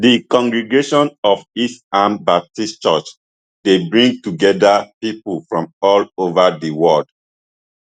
di congregation of east ham baptist church dey bring togeda pipo from all over di world